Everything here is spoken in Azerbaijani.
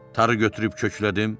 Tarı götürüb köklədim